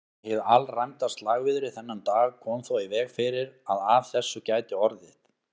Hið alræmda slagviðri þennan dag kom þó í veg fyrir að af þessu gæti orðið.